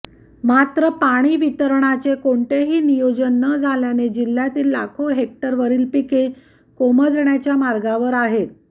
मात्र पाणी वितरणाचे कोणतेही नियोजन न झाल्याने जिल्हयातील लाखो हेक्टरवरील पिके कोमजण्याच्या मार्गावर आहेत